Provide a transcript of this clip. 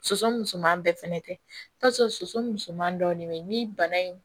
Soso musoman bɛɛ fɛnɛ tɛ i bi t'a sɔrɔ soso musoman dɔ de bɛ yen ni bana in